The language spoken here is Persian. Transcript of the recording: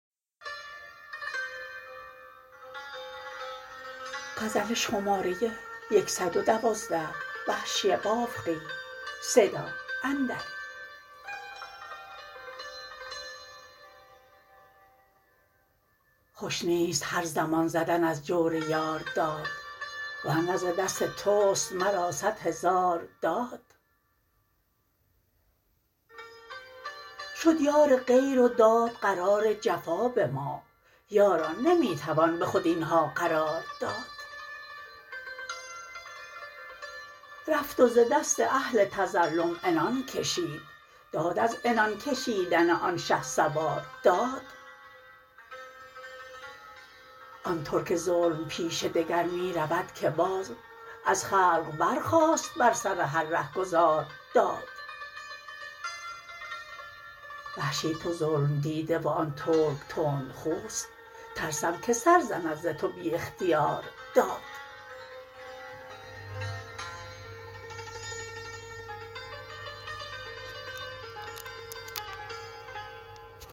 خوش نیست هرزمان زدن از جور یار داد ورنه ز دست تست مرا سد هزار داد شد یار غیر و داد قرار جفا به ما یاران نمی توان به خود اینها قرار داد رفت وز دست اهل تظلم عنان کشید داد از عنان کشیدن آن شهسوار داد آن ترک ظلم پیشه دگر می رود که باز از خلق برخاست بر سر هر رهگذار داد وحشی تو ظلم دیده و آن ترک تند خوست ترسم که سر زند ز تو بی اختیار داد